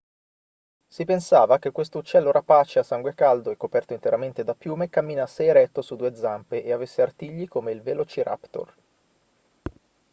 si pensava che questo uccello rapace a sangue caldo e coperto interamente da piume camminasse eretto su due zampe e avesse artigli come il velociraptor